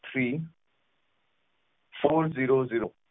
threefourzerozero